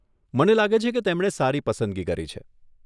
મને લાગે છે કે તેમણે સારી પસંદગી કરી છે.